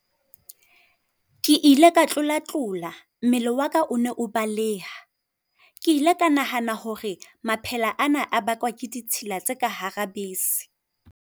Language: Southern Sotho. Ke ile ka tlola-tlola, mmele wa ka o ne o baleha. Ke ile ka nahana hore maphela ana a bakwa ke ditsela tse ka hara bese.